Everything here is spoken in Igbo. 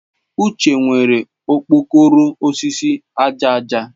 Uche nwere okpokoro osisi aja aja.